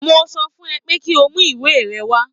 Mo sọ fún ẹ pé kí o mú ìwé rẹ wá